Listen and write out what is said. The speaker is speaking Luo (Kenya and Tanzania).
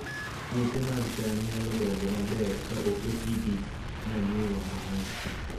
Puothe mag cham nyalo dongo maber ka ok oti gi manyiwa mang'eny